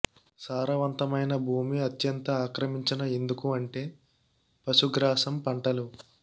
సారవంతమైన భూమి అత్యంత ఆక్రమించిన ఎందుకు అంటే పశుగ్రాసం పంటలు